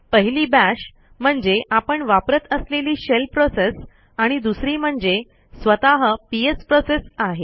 पहिली bashम्हणजे आपण वापरत असलेली शेल प्रोसेस आणि दुसरी म्हणजे स्वतः पीएस प्रोसेस आहे